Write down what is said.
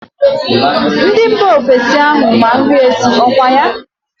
Ndị mba ofesi ahụ ma nri esi, ọkwa ya?